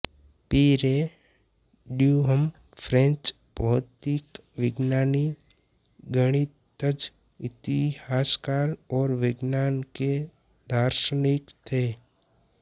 Pierre Duhem French भौतिक विज्ञानी गणितज्ञ इतिहासकार और विज्ञान के दार्शनिक थे